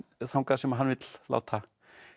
þangað sem hann vill láta